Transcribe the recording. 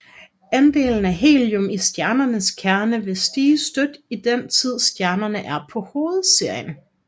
Andelen af helium i stjernens kerne vil stige støt i den tid stjernen er på hovedserien